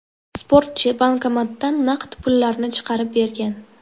Sportchi bankomatdan naqd pullarni chiqarib bergan.